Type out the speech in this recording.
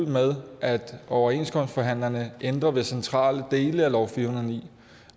med at overenskomstforhandlerne ændrer ved centrale dele af lov 409